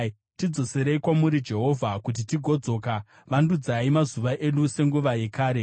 Tidzoserei kwamuri, Jehovha, kuti tigodzoka; vandudzai mazuva edu senguva yekare,